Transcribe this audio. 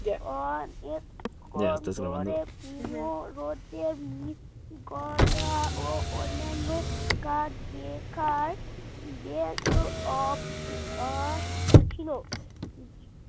অনেকক্ষণ ধরে কুমোরদের মূর্তি গড়া অন্যান্য কাজ দেখার ছিল